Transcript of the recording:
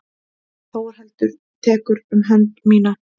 Þórhildur tekur um hönd mína.